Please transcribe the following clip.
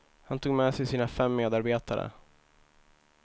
Han tog med sig sina fem medarbetare.